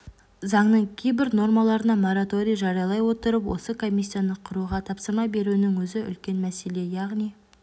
заңның кейбір нормаларына мораторий жариялай отырып осы комиссияны құруға тапсырма беруінің өзі үлкен мәселе яғни